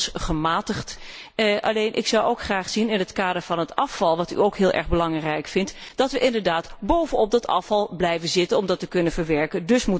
dat is inmiddels gematigd. Alleen zou ik ook graag zien dat wat het afval betreft wat u ook heel erg belangrijk vindt dat we inderdaad boven op dat afval blijven zitten om het te kunnen verwerken.